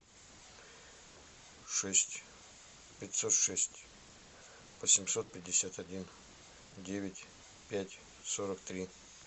шесть пятьсот шесть восемьсот пятьдесят один девять пять сорок три